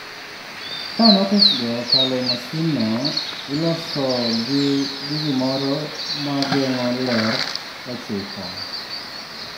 Ka notesgo okalo e masinno, ilosogi gi gimoro ma geng’o ler (ma ler) ochiko.